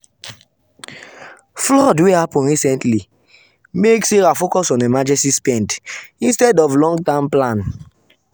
flood wey happen recently make sarah focus on emergency spend instead of long-term plan.